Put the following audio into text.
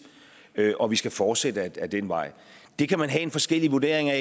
og vi skal fortsætte ad den vej det kan man have forskellige vurderinger